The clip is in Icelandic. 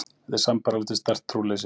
Þetta er sambærilegt við sterkt trúleysi.